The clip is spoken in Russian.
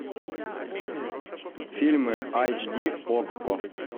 фильмы айч ди окко